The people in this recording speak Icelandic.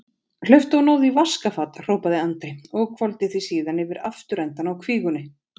Hlauptu og náðu í vaskafat, hrópaði Andri og hvolfdi því síðan yfir afturendann á kvígunni.